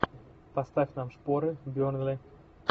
поставь нам шпоры бернли